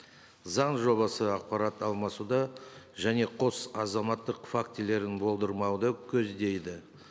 заң жобасы ақпарат алмасуды және қос азаматтық фактілерін болдырмауды көздейді